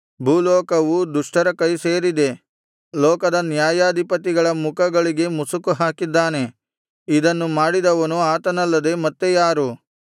ಭೂಲೋಕವು ದುಷ್ಟರ ಕೈ ಸೇರಿದೆ ಲೋಕದ ನ್ಯಾಯಾಧಿಪತಿಗಳ ಮುಖಗಳಿಗೆ ಮುಸುಕು ಹಾಕಿದ್ದಾನೆ ಇದನ್ನು ಮಾಡಿದವನು ಆತನಲ್ಲದೆ ಮತ್ತೆ ಯಾರು